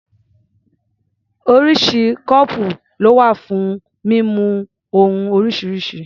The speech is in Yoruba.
Oríṣiríṣi kọ́ọ̀pù ló wà fún mímu ohun oríṣiríṣi.